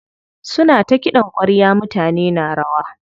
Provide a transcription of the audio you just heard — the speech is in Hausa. Suna ta kiɗan ƙwarya mutane na rawa.